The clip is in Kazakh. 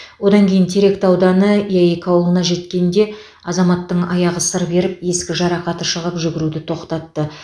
одан кейін теректі ауданы яик ауылына жеткенде азаматтың аяғы сыр беріп ескі жарақаты шығып жүгіруді тоқтатты